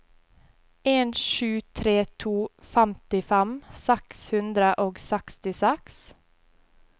en sju tre to femtifem seks hundre og sekstiseks